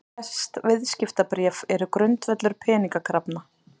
Flest viðskiptabréf eru grundvöllur peningakrafna.